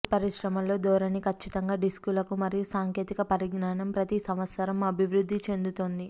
ఈ పరిశ్రమలో ధోరణి ఖచ్చితంగా డిస్కులకు మరియు సాంకేతిక పరిజ్ఞానం ప్రతి సంవత్సరం అభివృద్ధి చెందుతోంది